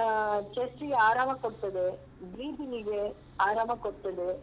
ಅಹ್ chest ಗೆ ಆರಾಮ ಕೊಡ್ತದೆ breathing ಗೆ ಆರಾಮ ಕೊಡ್ತದೆ.